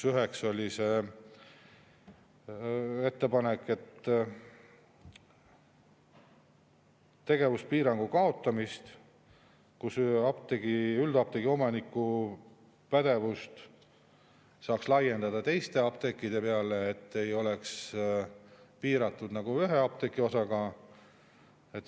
Näiteks oli ettepanek tegevuspiirangu kaotamise kohta: et üldapteegi omaniku pädevust saaks laiendada teistegi apteekide peale, et see ei oleks piiratud ühe apteegiga.